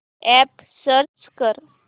app search कर